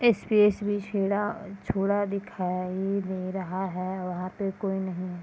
छोड़ दिखाई दे रहा है वहाँ पर कोई नहीं है।